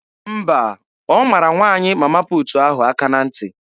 Mba, ọ mara nwaanyị Mama puutu ahụ aka na ntị.